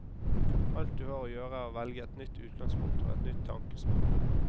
Alt du har å gjøre er å velge et nytt utgangspunkt og et nytt tankespor.